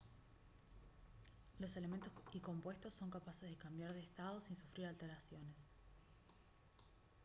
los elementos y compuestos son capaces de cambiar de estado sin sufrir alteraciones